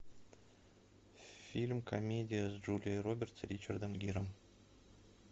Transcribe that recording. фильм комедия с джулией робертс и ричардом гиром